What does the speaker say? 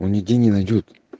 он нигде не найдёт